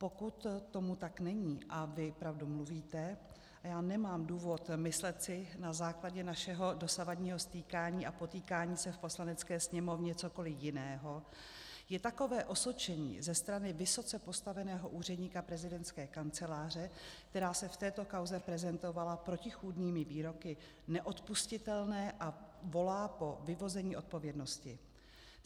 Pokud tomu tak není a vy pravdu mluvíte, a já nemám důvod myslet si na základě našeho dosavadního stýkání a potýkání se v Poslanecké sněmovně cokoliv jiného, je takové osočení ze strany vysoce postaveného úředníka prezidentské kanceláře, která se v této kauze prezentovala protichůdnými výroky, neodpustitelné a volá po vyvození odpovědnosti.